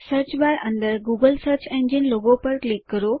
search bar અંદર Google search engine logo પર click કરો